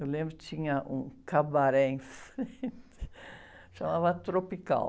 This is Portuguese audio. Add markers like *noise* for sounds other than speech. Eu lembro que tinha um cabaré em frente, *laughs* chamava Tropical.